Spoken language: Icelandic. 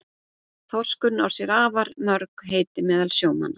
Þorskurinn á sér afar mörg heiti meðal sjómanna.